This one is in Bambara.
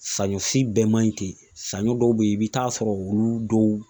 Saɲɔ si bɛɛ maɲi ten saɲɔ dɔw be yen i bi taa sɔrɔ olu dɔw